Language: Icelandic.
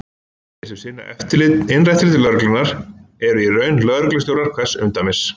Þeir sem sinna innra eftirliti lögreglunnar eru í raun lögreglustjórar hvers umdæmis.